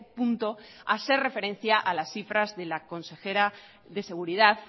punto hacer referencia a las cifras de la consejera de seguridad